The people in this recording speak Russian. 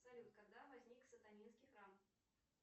салют когда возник сатанинский храм